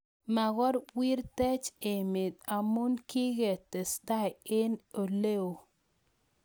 Makoiwirtech emeet amuu kiketestai eng oleoo